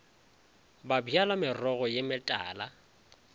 ba bjala merogo ye metala